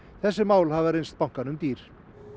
þessi mál hafa reynst bankanum dýr